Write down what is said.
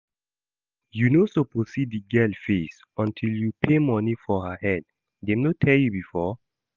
You no suppose see the girl face until you pay money for her head, dem no tell you before?